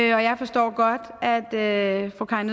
jeg forstår godt at at fru karin